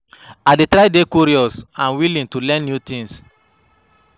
I dey try dey curious and willing to learn new things.